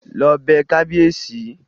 Lọ bẹ kábíèsí!